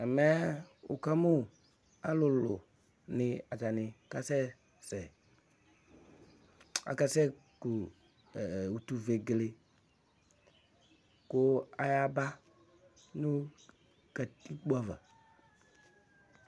Alɩ ƙulu ɖɩ la nʋ tɛ ,ƙatiƙpo ɖɩ ma nʋ ɩhɩlɩ, ɛƙʋtɛ ma nʋ ɛvɛ ƙpeƙpeƙpeAyʋɩ ɛƙʋtɛ wanɩ ɛɖɩnɩ : ɔɣlɔmɔ, ɔvɛ, ʋgbatawla, ofue ;ƙʋ owu ɖɩ ƴeli nʋ ƙatiƙpoe aƴinuƘoƙosi ɖɩ bɩ ma nʋ ɔbɛ ƙɩƙa ɖɩ aƴɛtʋƐmɛ ,wʋkamʋ alʋlʋ nɩ atanɩ ƙasɛsɛ,; akasɛ ƙu utuvegele ƙʋ aƴaba nʋ ƙatiƙpo ava